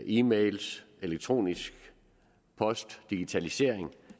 e mails elektronisk post digitalisering